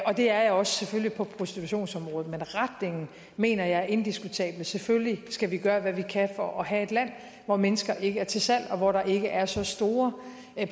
og det er jeg selvfølgelig også på prostitutionsområdet men retningen mener jeg er indiskutabel selvfølgelig skal vi gøre hvad vi kan for at have et land hvor mennesker ikke er til salg og hvor der ikke er så store